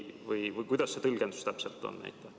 Või kuidas see tõlgendus täpselt on?